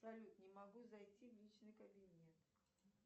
салют не могу зайти в личный кабинет